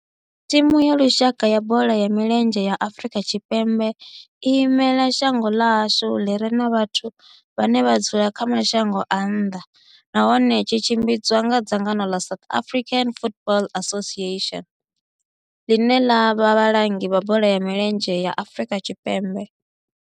Thimu ya lushaka ya bola ya milenzhe ya Afrika Tshipembe i imela shango ḽa hashu ḽi re na vhathu vhane vha dzula kha mashango a nnḓa nahone tshi tshimbidzwa nga dzangano la South African Football Association, line la vha vhalangi vha bola ya milenzhe Afrika Tshipembe.